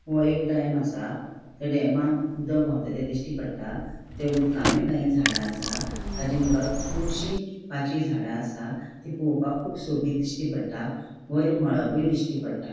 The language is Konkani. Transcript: वो एक डॅम असा त्या डॅमान उदक वावता ते दिश्टी पट्टा त्या उदकान काय झाड़ा असा ताची मुकार कूबशी पाचवी झाड़ा असा ती पोवपाक कुब सोबिथ दिश्टी पट्टा वयर मोळोब दिश्टी पट्टा.